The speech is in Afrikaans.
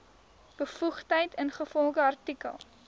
bevoegdheid ingevolge artikel